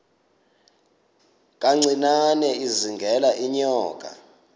kancinane izingela iinyoka